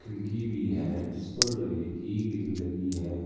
खिड़की भी है जीस पर लोहकी ग्रील लगी है।